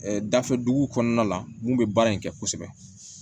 dafɛ duguw kɔnɔna la mun be baara in kɛ kosɛbɛ